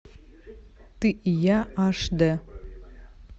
ты и я аш д